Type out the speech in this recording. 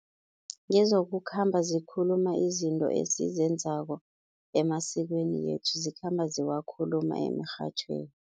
Ngezokukhamba zikhuluma izinto esizenzako emasikweni wethu, zikhamba ziwakhuluma emirhatjhweni.